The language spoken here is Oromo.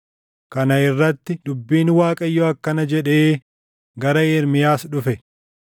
Kana irratti dubbiin Waaqayyoo akkana jedhee gara Ermiyaas dhufe: